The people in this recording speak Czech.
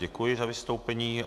Děkuji za vystoupení.